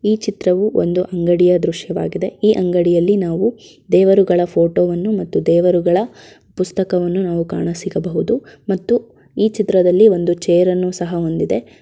ಈ ಚಿತ್ರವು ಒಂದು ಅಂಗಡಿ ದ್ರಶ್ಯವಾಗಿದೆ. ಈ ಅಂಗಡಿಯಲ್ಲಿ ನಾವು ದೇವ್ರ ಫೋಟೋ ಹಾಗು ದೇವ್ರ ಪುಸ್ತಕ ಕಾಣಬಹುದು ಮತ್ತು ಒಂದು ಚೇರ್ ಹೊಂದಿದೆ.